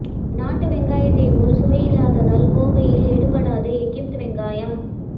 நாட்டு வெங்காயத்தை போல் சுவை இல்லாததால் கோவையில் எடுபடாத எகிப்து வெங்காயம்